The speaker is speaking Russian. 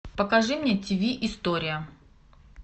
покажи мне тв история